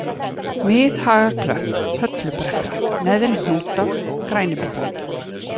Miðhagaklöpp, Höllubrekka, Neðri-Hnúta, Grænibotn